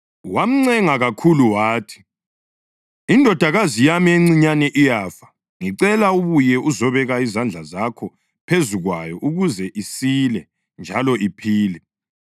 Wamncenga kakhulu wathi, “Indodakazi yami encinyane iyafa. Ngicela ubuye uzobeka izandla zakho phezu kwayo ukuze isile njalo iphile.”